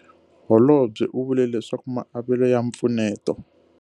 Holobye u vule leswaku maavelo ya mpfuneto.